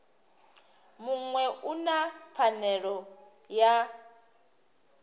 muṅwe u na pfanelo ya